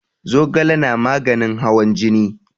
Zogale na maganin hawan jini.